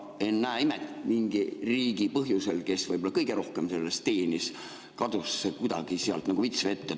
Aga ennäe imet, mingi riigi, kes võib-olla kõige rohkem sellest teenis, kadus see kuidagi sealt nagu vits vette.